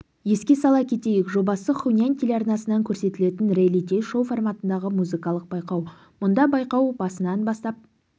еске сала кетейік жобасы хунань телеарнасынан көрсетілетін реалити-шоу форматындағы музыкалық байқау мұнда байқау басынан бастап